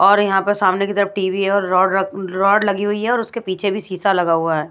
और यहाँ पर सामने की तरफ टी_वी है और रो र रोड लगी हुई है और उसके पीछे भी शीशा लगा हुआ है।